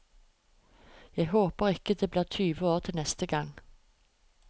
Jeg håper ikke det blir tyve år til neste gang.